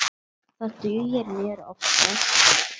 Það dugir mér oftast.